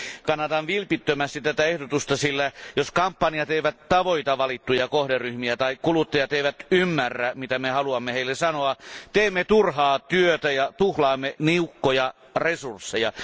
Kannatan vilpittömästi tätä ehdotusta, sillä jos kampanjat eivät tavoita valittuja kohderyhmiä tai kuluttajat eivät ymmärrä, mitä me haluamme heille sanoa, teemme turhaa työtä ja tuhlaamme niukkoja resursseja.